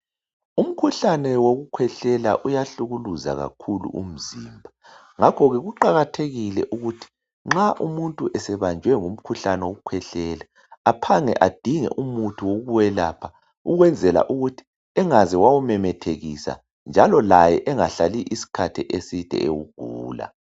Umkhuhlane wokukhwehlela uyahlukuluza kakhulu umzimba. Ngakho ke kuqakathekile ukuthi nxa umuntu esebanjwe ngumkhuhlane wokukhwehlela aphange adinge umuthi wokwelapha ukwenzela ukuthi engaze wawumemethekisa njalo laye engahlali isikhathi eside ewugula.